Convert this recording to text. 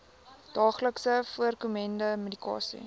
daagliks voorkomende medikasie